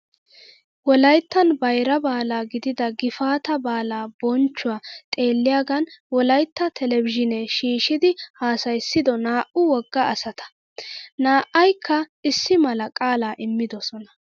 Wolayittan bayira baala gidida gifaataa baalaa bonchchuwaa xeelliyaagan wolayitta telbejiinee shiishshidi haasayyissido naa''u wogga asata. Na''ayikka issi mala qaalaa immidosona.